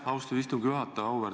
Aitäh, austatud istungi juhataja!